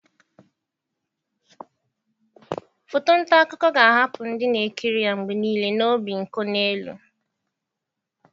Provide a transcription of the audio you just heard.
Foto nta akụkọ ga-ahapụ ndị na-ekiri ya mgbe niile na obinkonelu.